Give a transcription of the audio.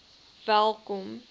welkom